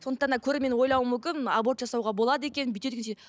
сондықтан да көрермен ойлауы мүмкін аборт жасауға болады екен